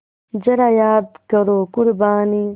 ज़रा याद करो क़ुरबानी